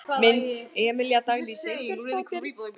Mynd: Emilía Dagný Sveinbjörnsdóttir.